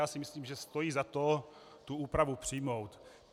Já si myslím, že stojí za to tu úpravu přijmout.